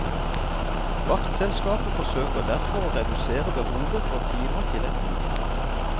Vaktselskapet forsøker derfor å redusere behovet for timer til et minimum.